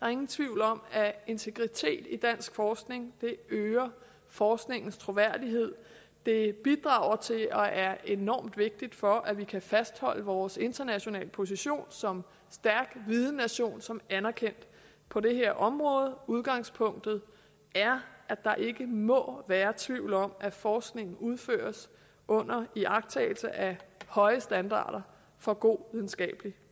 er ingen tvivl om at integritet i dansk forskning øger forskningens troværdighed det bidrager til og er enormt vigtigt for at vi kan fastholde vores internationale position som stærk vidennation som er anerkendt på det her område udgangspunktet er at der ikke må være tvivl om at forskningen udføres under iagttagelse af høje standarder for god videnskabelig